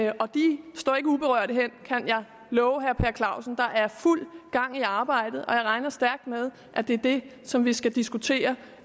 og de står ikke uberørte hen kan jeg love herre per clausen der er fuld gang i arbejdet og jeg regner stærkt med at det er det som vi skal diskutere